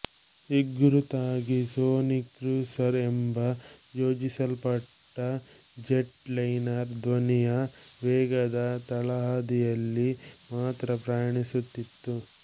ಹೆಗ್ಗುರುತಾಗಿ sonic cruiser ಎಂಬ ಯೋಜಿಸಲ್ಪಟ್ಟ jetliner ಧ್ವನಿಯ ವೇಗದ ತಳಹದಿಯಲ್ಲಿ ಮಾತ್ರ ಪ್ರಯಾಣಿಸುತ್ತಿತ್ತು